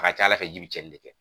ka ca Ala fɛ ji bɛ cɛnni de kɛ.